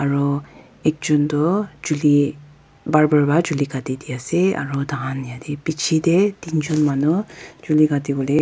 ro ekjon toh chuli barbar pa katidiase aro tahan yate bichae tae teen jon manu chuli Kati wolae--